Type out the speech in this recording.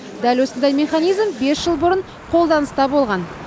дәл осындай механизм бес жыл бұрын қолданыста болған